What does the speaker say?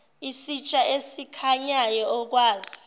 isitsha esikhanyayo okwazi